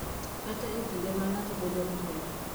Kata e kinde ma ng’ato bedo gi pek.